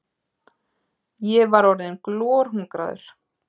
Ég var orðinn glorhungraður.